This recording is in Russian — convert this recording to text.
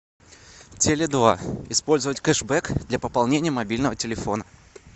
теле два использовать кэшбэк для пополнения мобильного телефона